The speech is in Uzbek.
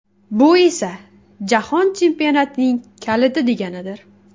Bu esa Jahon chempionatining kaliti deganidir.